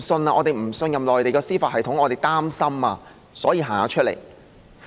我們不信任內地的司法系統，我們感到擔心，所以出來參加遊行。